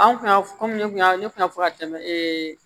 Anw kun y'a komi ne kun y'a ne kun y'a fɔ ka tɛmɛ